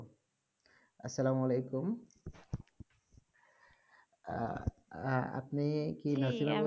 আপনি কি